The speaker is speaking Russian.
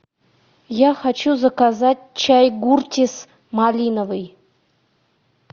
я хочу заказать чай гуртис малиновый